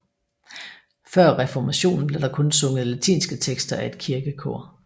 Før reformationen blev der kun sunget latinske tekster af et kirkekor